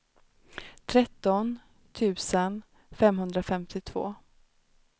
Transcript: tretton tusen femhundrafemtiotvå